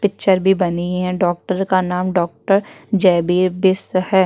Picture भी बनी है डॉक्टर का नाम डॉक्टर जयबीर बिष्ट है।